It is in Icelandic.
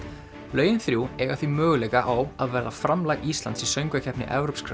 lögin þrjú eiga því möguleika á að vera framlag Íslands í Söngvakeppni evrópskra